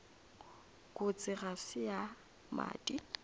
kotsi ga se ya madi